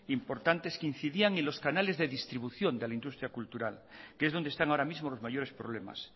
importantes que incidían en los canales de distribución de la industria cultural que es donde están ahora mismo los mayores problemas